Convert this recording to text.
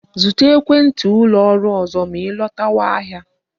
Zụta ekwenti ụlọ ọrụ ọzọ ma I lọtawa ahịa